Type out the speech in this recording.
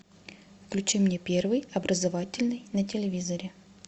включи мне первый образовательный на телевизоре